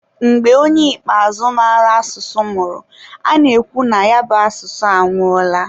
mgbe onye ikpeazụ mara asụsụ nwụrụ, a na-ekwu na ya bụ asụsụ anwụọla.